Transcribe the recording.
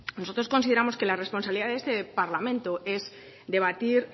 nosotros consideramos que la responsabilidad de este parlamento es debatir